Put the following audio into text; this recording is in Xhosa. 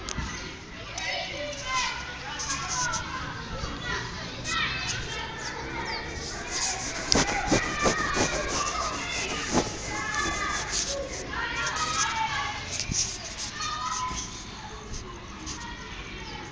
kuvezwa sisivumelwano sangaphambi